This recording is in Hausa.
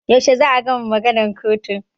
Yaushe za a gama maganan kotun?